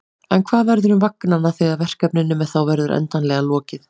En hvað verður um vagnanna þegar verkefninu með þá verður endanlega lokið?